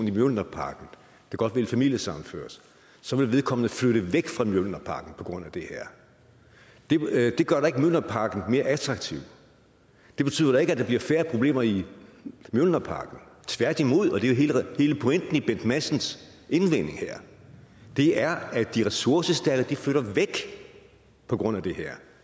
i mjølnerparken der godt vil familiesammenføres så vil vedkommende flytte væk fra mjølnerparken på grund af det her det gør da ikke mjølnerparken mere attraktiv det betyder da ikke at der bliver færre problemer i mjølnerparken tværtimod og det er jo hele pointen i bent madsens indvending her det er at de ressourcestærke flytter væk på grund af det her